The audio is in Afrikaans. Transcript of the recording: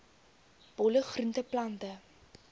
bolle groente plante